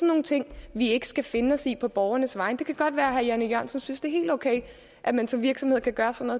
nogle ting vi ikke skal finde os ind på borgernes vegne det kan godt være at herre jan e jørgensen synes det er helt okay at man som virksomhed kan gøre sådan